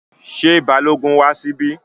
Ṣé Balógun wá síbí?